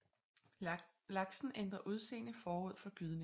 Laksen ændrer udseende forud for gydningen